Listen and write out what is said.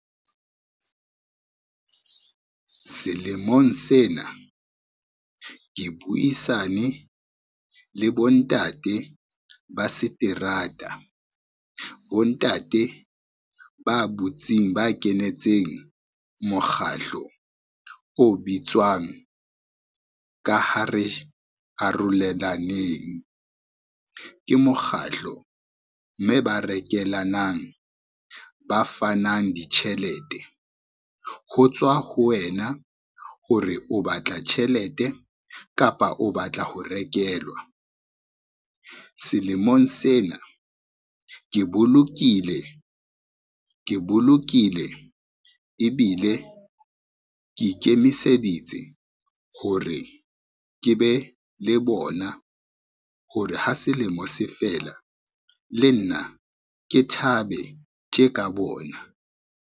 Selemong sena ke buisane le bontate ba seterata, bontate ba butsing, ba kenetseng mokgahlo o bitswang ka Ha re arolelaneng. Ke mokgahlo mme ba rekelanang, ba fanang ditjhelete ho tswa ho wena hore o batla tjhelete kapa o batla ho rekelwa. Selemong sena ke bolokile ebile ke ikemiseditse hore ke be le bona hore ha selemo se fela, le nna ke thabe tje ka bona.